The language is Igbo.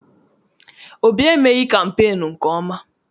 Obi emeghị kampeenu nke ọma.